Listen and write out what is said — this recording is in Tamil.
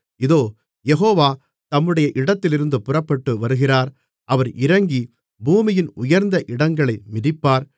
இதோ யெகோவா தம்முடைய இடத்திலிருந்து புறப்பட்டு வருகிறார் அவர் இறங்கி பூமியின் உயர்ந்த இடங்களை மிதிப்பார்